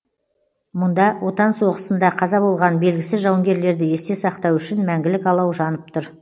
мұнда отан соғысында қаза болған белгісіз жауынгерлерді есте сақтау үшін мәңгілік алау жанып тұр